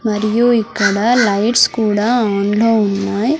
మరియు ఇక్కడ లైట్స్ కూడా ఆన్ లో ఉన్నాయ్.